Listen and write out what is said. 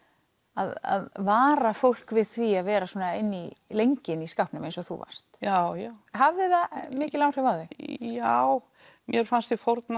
að vara fólk við því að vera svona lengi inni í skápnum eins og þú varst já já hafði það mikil áhrif á þig já mér fannst ég fórna